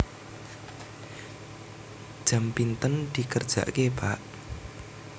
Jam pinten dikerjaké Pak